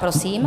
Prosím.